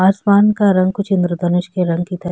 आसमान का रंग कुछ इंद्रा धनुष की रंग की तरह --